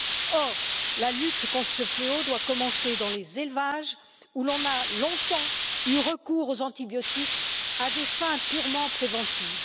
Or, la lutte contre ce fléau doit commencer dans les élevages où l'on a longtemps eu recours aux antibiotiques à des fins purement préventives.